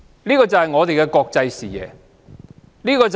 這就是我們的國際視野。